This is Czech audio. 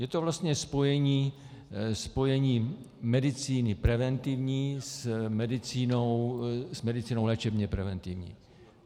Je to vlastně spojení medicíny preventivní s medicínou léčebně preventivní.